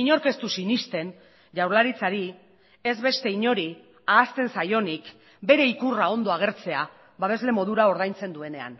inork ez du sinesten jaurlaritzari ez beste inori ahazten zaionik bere ikurra ondo agertzea babesle modura ordaintzen duenean